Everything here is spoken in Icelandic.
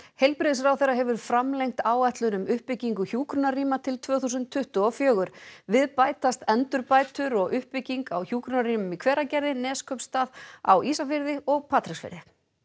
heilbrigðisráðherra hefur framlengt áætlun um uppbyggingu hjúkrunarrýma til tvö þúsund tuttugu og fjögur við bætast endurbætur og uppbygging á hjúkrunarrýmum í Hveragerði Neskaupstað á Ísafirði og Patreksfirði